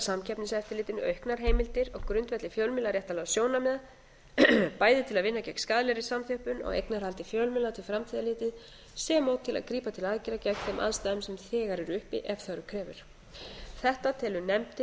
samkeppniseftirlitinu auknar heimildir á grundvelli fjölmiðlaréttarlegra sjónarmiða bæði til að vinna gegn skaðlegri samþjöppun á eignarhaldi fjölmiðla til framtíðar litið sem og til að grípa til aðgerða gegn þeim aðstæðum sem þegar eru uppi ef þörf krefur þetta